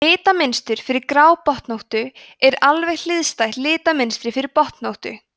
litamynstur fyrir grábotnóttu er alveg hliðstætt litamynstri fyrir botnóttu